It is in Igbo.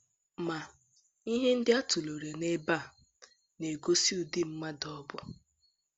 Ma, ihe ndị a tụlere n’ebe a na - egosi ụdị mmadụ ọ bụ.